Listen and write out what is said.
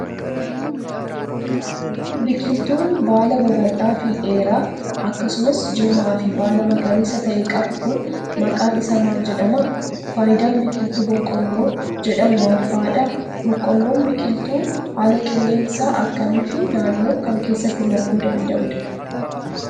Biqiltuun baala babal'aa fi dheeraa akkasumas jirmaa fi baala magariisa ta'e qabu kun, maqaan isaa maal jedhama? Faayidaan biqiltuu boqqooolloo jedhamuu maal faa dha? Boqqoolloon, biqiltuu haala qilleensaa akkamii fi naannoo kam keessatti marguu danda'uudha?